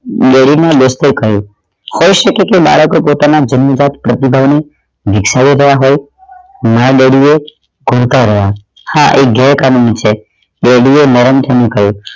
ડરી ને કહ્યું થઈ શકે થઈ શકે કે મારા કોઈ પોતાના ધિનધક પ્રતિભા ને ઉછાડી રહ્યા હોય my daddy એ ધમકાવ્યા હા એ ગેરકાનૂની છે daddy એ નરમ થઈ કહ્યું